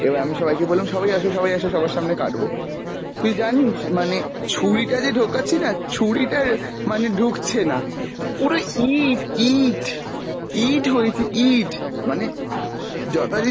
এবার আমি সবাইকে বললাম সবাই আসো সবাই আসো সবার সামনে কাটবো। তুই জানিস মানে ছুরিটা যে ঢোকাচ্ছিনা ছুরি টার মানে ঢুকছে না, পুরো ইট, ইট, ইট হয়েছে ইট মানে যথারীতি